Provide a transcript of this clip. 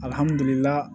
Alihamudulila